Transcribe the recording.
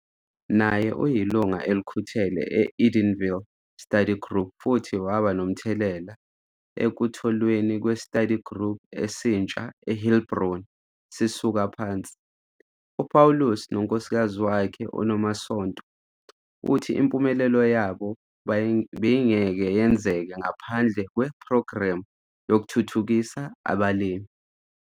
Naye uyilungu elikhuthele e-Edenville Study Group futhi waba nomthelela ekutholweni kwe-study group esintsha e-Heilbron sisuka phansi. U-Paulus nonkosikazi wakhe, uNomasonto uthi impumelelo yabo beyingeke yenzeke ngaphandle kwe-Phrogremu yokuThuthuthukisa abaLimi.